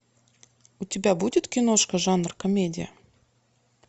у тебя будет киношка жанр комедия